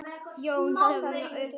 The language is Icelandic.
Þar þarf mikið til.